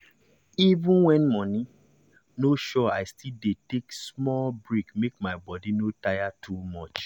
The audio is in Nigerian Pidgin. even when money no sure i still dey take small break make my body no tire too much.